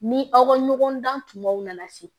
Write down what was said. Ni aw ka ɲɔgɔn dan tumaw nana se